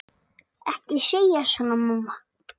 Ekki segja svona, mamma.